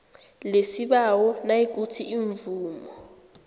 lesibawo nayikuthi imvumo